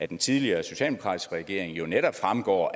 den tidligere socialdemokratiske regering i jo netop fremgår